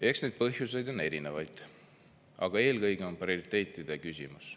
Eks neid põhjuseid on erinevaid, aga eelkõige on prioriteetide küsimus.